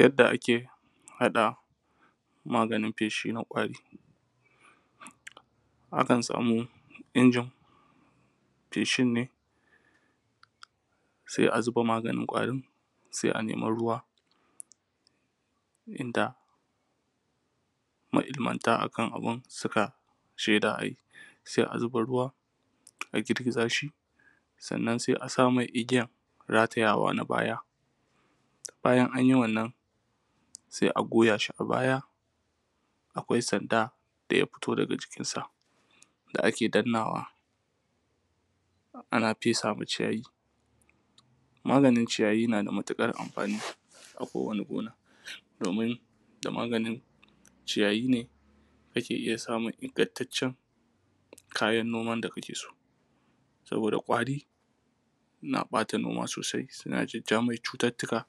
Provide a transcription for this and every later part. Yadda ake haɗa maganin feshi na ƙwari, akan samu injin feshin ne sai a zuba maganin ƙwarin, sai anema ruwa inda ma’ilmanta akan abun suka shaida ayi, sai a zuba ruwa,a girgiza shi. Sannan sai a sa masa igiyar ratayawa na baya. Bayan an yi wannan, sai a goya shi a baya, akwai sanda daya fito daga jikin sa da ake dannawa, ana fesa ma ciyayi. Maganin ciyayi na da matuƙar amfani a kowanni gona, domin da maganin ciyayi ne ake iya samun ingantaccen kayan noman da kake so. Saboda ƙwari na ɓata noma sosai, suna jajja mai cututtuka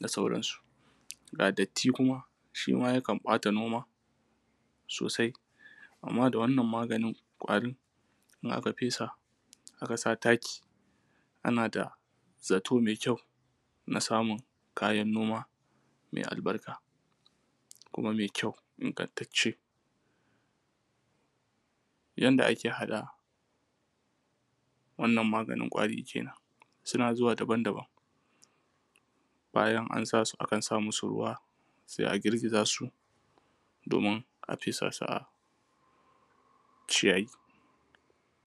da sauran su, ga datti kuma, shi ma yakan ɓata noma sosai amma da wannan maganin ƙwarin, in aka fesa, aka sa taki ana da zato mai kyau na samun kayan noma mai albarka kuma mai kyau ingantacce. Yadda ake haɗa wannan maganin ƙwari kenan, suna zuwa daban-daban, bayan an sa su akan sa musu ruwa sai a girgiza su domin a fesa su a ciyayi.